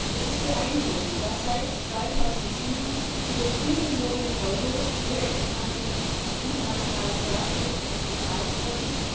Es ist beeindruckend, dass seit 2007 über 4 Millionen EUR direkt an den Internationalen Strafgerichtshof gezahlt wurden.